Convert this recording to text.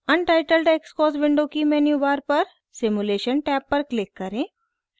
untitled xcos window की menu bar पर simulation tab पर क्लिक करें